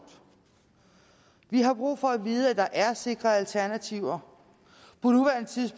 vi har brug for at vide at der er sikre alternativer